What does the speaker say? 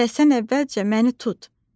Hələ sən əvvəlcə məni tut.